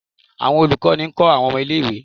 awọn olukọni nkọ awọn ọmọ ìlé-ìwé